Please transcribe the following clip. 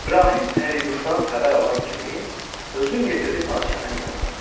İbrahim pərinüşdan xəbər alan kimi, özün yetirdi padşahın yanına.